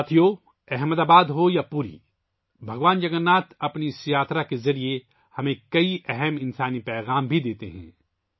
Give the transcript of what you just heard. ساتھیو، احمد آباد ہو یا پوری، بھگوان جگن ناتھ اپنی اس یاترا کے ذریعے ہمیں بہت گہرے انسانی پیغامات دیتے ہیں